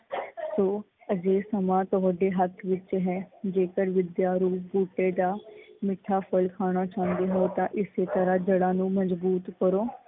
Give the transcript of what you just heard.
ਅੱਜ ਇਹ ਸਮਾਂ ਤੁਹਾਡੇ ਹੱਥ ਵਿੱਚ ਹੈ, ਜੇਕਰ ਵਿੱਦਿਆ ਰੂਪ ਬੂਟੇ ਦਾ ਮਿੱਠਾ ਫਲ ਖਾਣਾ ਚਾਉਂਦੇ ਹੋ ਤੋਂ ਇਸੇ ਤਰਾਂ ਜੜ੍ਹਾਂ ਨੂੰ ਮਜਬੂਤ ਕਰੋ।